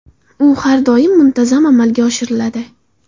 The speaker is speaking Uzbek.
U har doim, muntazam amalga oshiriladi.